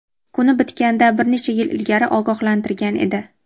kuni bitganidan bir necha yil ilgari ogohlantirgan edi.